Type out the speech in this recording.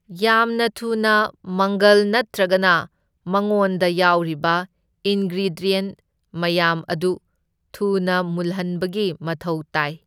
ꯌꯥꯝꯅ ꯊꯨꯅ ꯃꯪꯒꯜ ꯅꯠꯇ꯭ꯔꯒꯅ ꯃꯉꯣꯟꯗ ꯌꯥꯎꯔꯤꯕ ꯏꯟꯒ꯭ꯔꯤꯗ꯭ꯌꯟꯠ ꯃꯌꯥꯥꯝ ꯑꯗꯨ ꯊꯨꯅ ꯃꯨꯜꯍꯟꯕꯒꯤ ꯃꯊꯧ ꯇꯥꯢ꯫